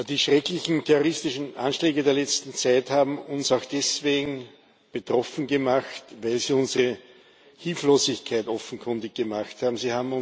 Die schrecklichen terroristischen Anschläge der letzten Zeit haben uns auch deswegen betroffen gemacht, weil sie unsere Hilflosigkeit offenkundig gemacht haben.